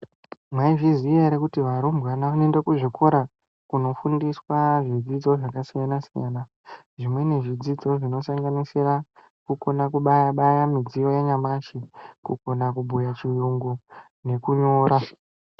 Mwaizviziya ere kuti varumbwana vanoende kuzvikora kunofundiswa zvidzidzo zvakasiyana-siyana . Zvimweni zvidzidzo zvinosanganisira, kukona kubaya-baya midziyo yanyamashi, kukona kubhuya chiyungu, nekunyora.